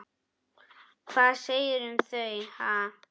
Hvað segirðu um þau, ha?